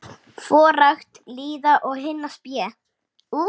forakt lýða og hinna spé.